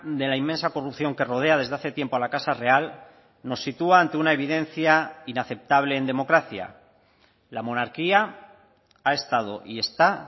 de la inmensa corrupción que rodea desde hace tiempo a la casa real nos sitúa ante una evidencia inaceptable en democracia la monarquía ha estado y está